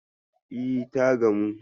E, ta gamu.